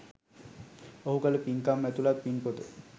ඔහු කළ පින්කම් ඇතුළත් පින් පොත